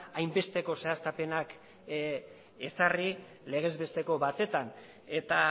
hainbeste zehaztapenak ezarri legezbesteko batetan eta